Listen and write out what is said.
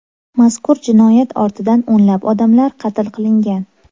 Mazkur jinoyat ortidan o‘nlab odamlar qatl qilingan.